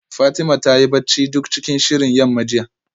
Fatima ta yi bacci duk cikin shirin yamma jiya